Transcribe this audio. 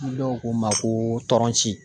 Ni dɔw ko n ma ko tɔnci